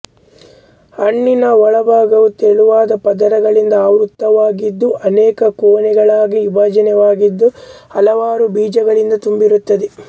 ಹಣ್ಣಿನ ಒಳಭಾಗವು ತೆಳುವಾದ ಪದರಗಳಿಂದ ಆವೃತವಾಗಿದ್ದು ಅನೇಕ ಕೋಣೆಗಳಾಗಿ ವಿಭಾಗವಾಗಿದ್ದು ಹಲವಾರು ಬೀಜಗಳಿಂದ ತುಂಬಿರುತ್ತದೆ